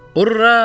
Urra!